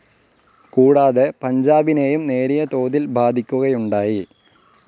കൂടാതെ പഞ്ചാബിനേയും നേരിയതോതിൽ ബാധിക്കുകയുണ്ടായി.